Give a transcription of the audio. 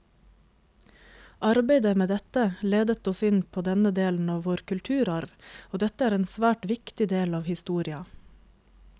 Arbeidet med dette ledet oss inn på denne delen av vår kulturarv, og dette er en svært viktig del av historia.